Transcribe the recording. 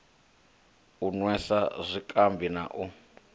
u nwesa zwikambi na u